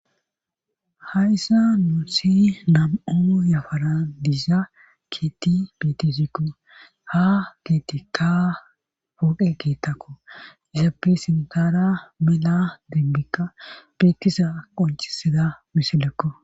hayssa nuusi nam7o yafara diiza keeti bitisikko ha keetikka pooqe kettakko izape sintara mila dinbikka beettisa qoncisida misilekko